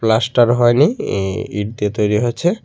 Plaster হয়নি ই ইট দিয়ে তৈরি হচ্ছে।